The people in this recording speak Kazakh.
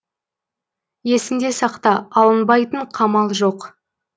есіңде сақта алынбайтын қамал жоқ